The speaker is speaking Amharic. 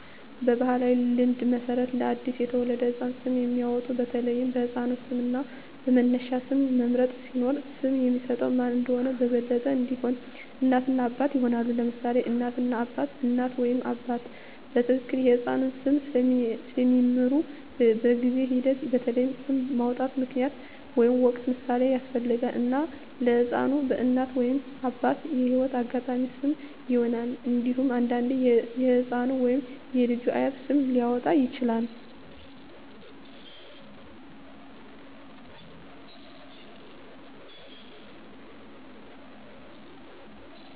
በባሕላዊ ልማድ መሠረት ለአዲስ የተወለደ ህፃን ስም የሚያወጡት በተለይ በሕፃኑ ስም እና በመነሻ ስም መምረጥ ሲኖር፣ ስም የሚሰጠው ማን እንደሆነ በበለጠ እንዲሆን፣ እናት እና አባት ይሆናሉ: ለምሳሌ እናት እና አባት: እናት ወይም አባት በትክክል የሕፃኑን ስም ስለሚምሩ፣ በጊዜ ሂደት በተለይ ስም ማውጣት ምክንያታዊ ወይም ወቅታዊ ምሳሌን ያስፈልጋል፣ እና ለሕፃኑ በእናት ወይም አባት የህይወት አጋጣሚዎች ስም ይሆናል። እንዴሁም አንዳንዴ የህፃኑ ወይም የልጁ አያት ስም ሊያወጣ ይችላል።